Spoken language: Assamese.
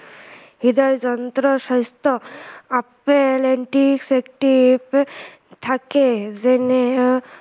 হৃদযন্ত্ৰ, স্ৱাস্থ্য় আপেল antiseptic থাকে যেনে